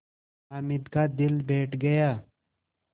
हामिद का दिल बैठ गया